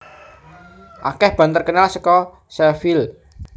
Akeh band terkenal saka Sheffield